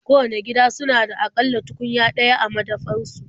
Kowanne gida suna da a ƙalla tukunya ɗaya a madafar su.